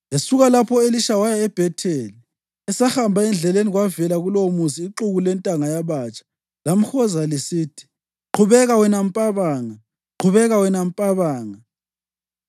Esuka lapho u-Elisha waya eBhetheli. Esahamba endleleni, kwavela kulowomuzi ixuku lentanga yabatsha lamhoza lisithi, “Qhubeka, wena mpabanga! Qhubeka, wena mpabanga!”